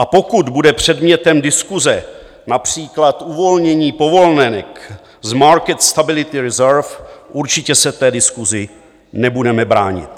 A pokud bude předmětem diskuse například uvolnění povolenek z market stability reserve, určitě se té diskusi nebudeme bránit.